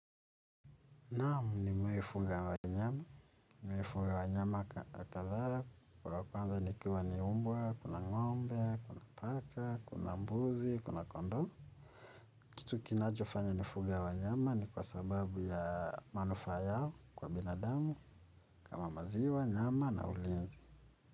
Naam nimewai fuga wanyama. Nimewafuga wa nyama kadhaa, wa kwanza nikiwa ni mbwa, kuna ngombe, kuna paka, kuna mbuzi, kuna kondoo. Kitu kinachofanya nifuge wanyama ni kwa sababu ya manufaa yao kwa binadamu, kama maziwa, nyama na ulinzi.